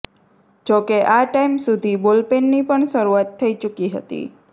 જો કે આ ટાઈમ સુધી બોલપેનની પણ શરૂઆત થઇ ચુકી હતી